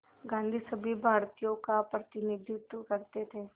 गांधी सभी भारतीयों का प्रतिनिधित्व करते थे